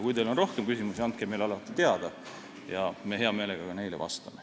Kui teil on aga rohkem küsimusi, siis andke meile teada ja me vastame alati hea meelega ka neile.